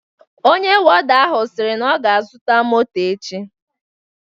Ọnye wọda ahụ siri na ọ ga azuta mọtọ echi